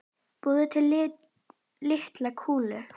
Búið til litlar kúlur.